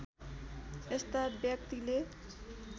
यस्ता व्यक्तिले